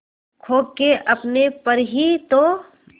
खो के अपने पर ही तो